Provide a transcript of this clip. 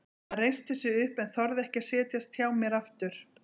Hann reisti sig upp en þorði ekki að setjast hjá mér aftur.